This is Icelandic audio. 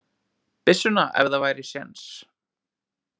Byssuna ef það væri séns.